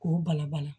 K'o bala bala